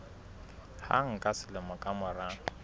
hang ka selemo ka mora